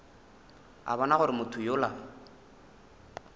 a bona gore motho yola